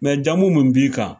jamu mun b'i kan.